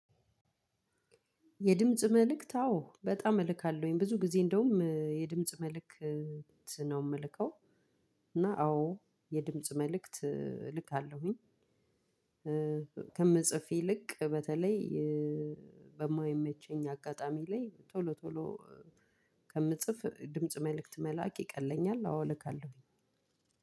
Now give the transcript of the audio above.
የድምጽ መልእክት አዎ በጣም እልካለሁኝ ብዙ ጊዜ እንደውም የድምጽ መልእክት ነው የምልከው። እና አዎ የድምጽ መልእክት እልካለሁኝ። ከምፅፍ ይልክ በተለይ። በማይመቸኝ አጋጣሚ ላይ ቶሎ ቶሎ ከምጽፍ ድምጽ መልእክት መላክ ይቀለኛል። አዎ እልካለሁኝ።